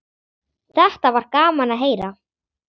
Þetta var gaman að heyra.